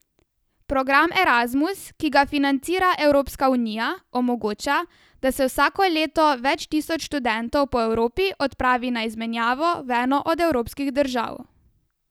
Program Erasmus, ki ga financira Evropska unija, omogoča, da se vsako leto več tisoč študentov po Evropi odpravi na izmenjavo v eno od evropskih držav.